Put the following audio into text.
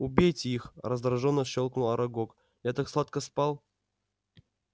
убейте их раздражённо щёлкнул арагог я так сладко спал